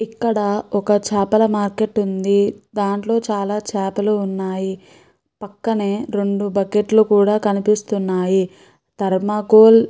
ఇక్కడ ఒక చాపల మార్కెట్ ఉంది. దాంట్లో చాలా చేపలు ఉన్నాయి. పక్కనే రెండు బకెట్ లు కూడా కనిపిస్తున్నాయి. ధర్మాకోల్ --